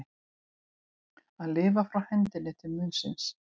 Að lifa frá hendinni til munnsins